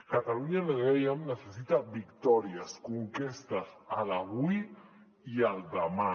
catalunya ho dèiem necessita victòries conquestes avui i demà